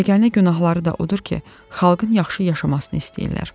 Yeganə günahları da odur ki, xalqın yaxşı yaşamasını istəyirlər.